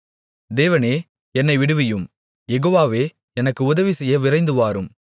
தேவனே என்னை விடுவியும் யெகோவாவே எனக்கு உதவிசெய்ய விரைந்துவாரும்